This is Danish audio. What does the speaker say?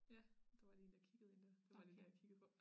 Ja der var lige en der kiggede ind dér det var lige det jeg kiggede på